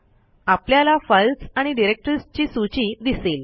आपल्याला फाईल्स आणि डिरेक्टरीजची सूची दिसेल